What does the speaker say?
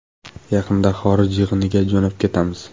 Yaqinda xorij yig‘iniga jo‘nab ketamiz.